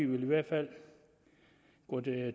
vil i hvert fald gå